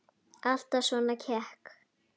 Alltaf svona kekk?